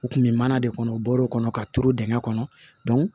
U kun bɛ mana de kɔnɔ u bɔr'o kɔnɔ ka turu dingɛ kɔnɔ